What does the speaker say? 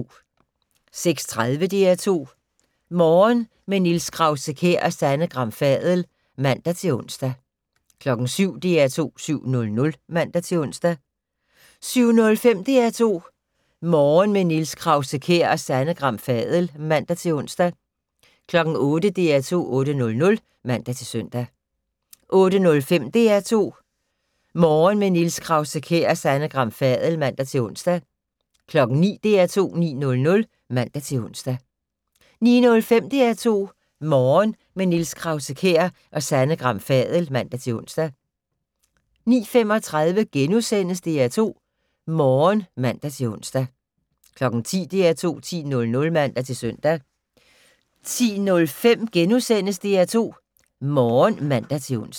06:30: DR2 Morgen - med Niels Krause-Kjær og Sanne Gram Fadel (man-ons) 07:00: DR2 7:00 (man-ons) 07:05: DR2 Morgen - med Niels Krause-Kjær og Sanne Gram Fadel (man-ons) 08:00: DR2 8:00 (man-søn) 08:05: DR2 Morgen - med Niels Krause-Kjær og Sanne Gram Fadel (man-ons) 09:00: DR2 9:00 (man-ons) 09:05: DR2 Morgen - med Niels Krause-Kjær og Sanne Gram Fadel (man-ons) 09:35: DR2 Morgen *(man-ons) 10:00: DR2 10:00 (man-søn) 10:05: DR2 Morgen *(man-ons)